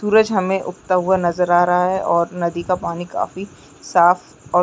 सूरज हमें उगता हुआ नज़र आ रहा है और नदी का पानी काफी साफ़ और--